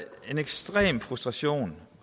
ekstrem frustration